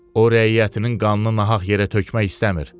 O rəiyyətinin qanını nahaq yerə tökmək istəmir.